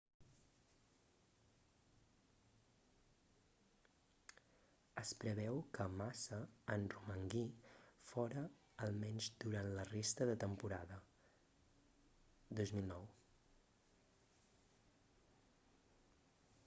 es preveu que massa en romangui fora almenys durant la resta de temporada 2009